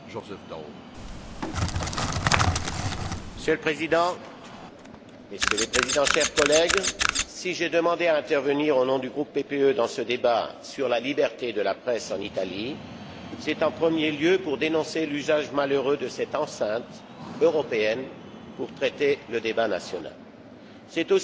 Monsieur le Président, Messieurs les Présidents, chers collègues, si j'ai demandé à intervenir au nom du groupe PPE dans ce débat sur la liberté de la presse en Italie, c'est en premier lieu pour dénoncer l'usage malheureux de cette enceinte européenne pour traiter le débat national. C'est aussi pour dénoncer un procès injuste et de mauvaise foi